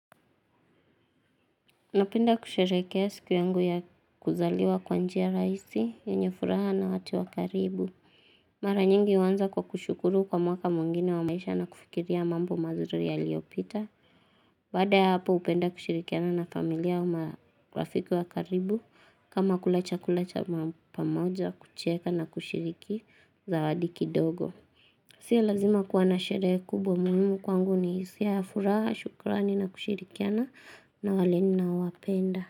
Napenda kusherekea siku yangu ya kuzaliwa kwa njia rahisi yenye furaha na watu wa karibu. Mara nyingi huanza kwa kushukuru kwa mwaka mwingine wa maisha na kufikiria mambo mazuri yaliopita. Baada ya hapo hupenda kushirikiana na familia wa marafiki wa karibu kama kula chakula cha pamoja kucheka na kushiriki zawadi kidogo. Sio lazima kuwa na sherehe kubwa, muhimu kwangu ni hisia ya furaha, shukurani na kushirikiana na wale ninaowapenda.